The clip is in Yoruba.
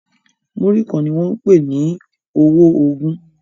Muri kán ní wón pè ọwọ ogún